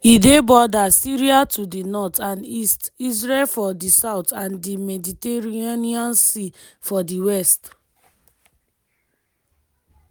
e dey border syria to di north and east israel for di south and di mediterranean sea for di west.